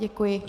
Děkuji.